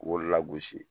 U b'o lagosi